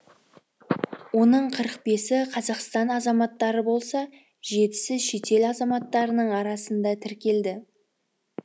оның қырық бесі қазақстан азаматтары болса жетісі шетел азаматтарының арасында тіркелді